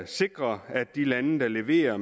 sikrer at de lande der leverer